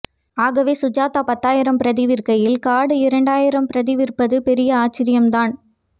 ஆகவே சுஜாதா பத்தாயிரம் பிரதி விற்கையில் காடு இரண்டாயிரம் பிரதி விற்பது பெரிய ஆச்சரியம்தான்